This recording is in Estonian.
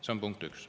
See on punkt üks.